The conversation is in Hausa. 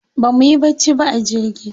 Ba mu yi bacci ba a jirgi.